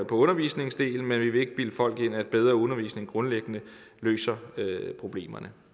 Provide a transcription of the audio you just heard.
undervisningsdelen men vi vil ikke bilde folk ind at bedre undervisning grundlæggende løser problemerne